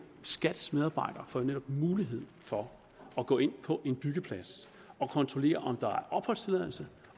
skats medarbejdere jo netop mulighed for at gå ind på en byggeplads og kontrollere om der er opholdstilladelse